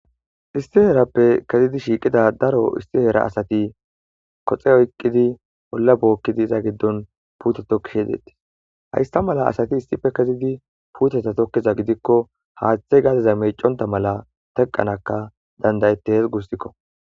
Issi heerappe daro asati issi heera koxe oykidi olla bookkishenne puute tokkishe de7ettees hayssa mala asati tokkiza gidikko haathey gadeza meecconta go7ees guussako.